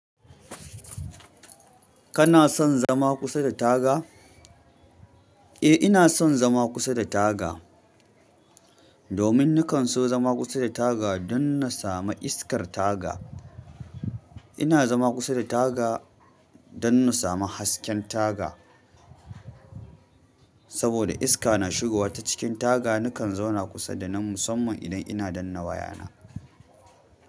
Kana son zama kusa da taga? Eh, ina son zama kusa da taga. Domin nakan so zama kusa da taga don na sami iskar taga. Ina zama kusa da taga don na sama hasken taga. Saboda iska na shigowa ta cikin taga, nakan zauna kusa da nan musamman idan ina danna wayana.